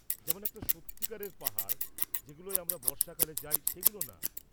যেমন একটা সত্যিকারের পাহাড়, যেগুলোয় আমরা বর্ষাকালে যাই সেগুলো না।